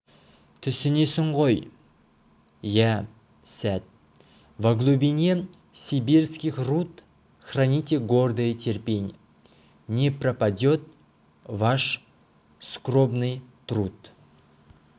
түсінесің ғой иә сәт во глубине сибирских руд храните гордое терпенье не пропадет ваш скорбный труд